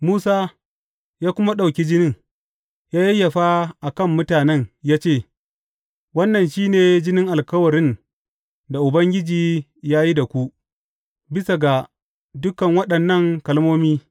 Musa ya kuma ɗauki jinin, ya yayyafa a kan mutanen ya ce, Wannan shi ne jinin alkawarin da Ubangiji ya yi da ku, bisa ga dukan waɗannan kalmomi.